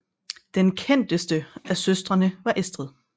Den kendteste af søstrene var Estrid